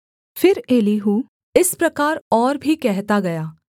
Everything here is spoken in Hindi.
फिर एलीहू इस प्रकार और भी कहता गया